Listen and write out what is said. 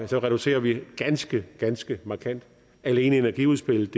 reducerer vi ganske ganske markant alene energiudspillet